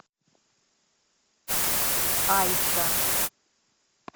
айша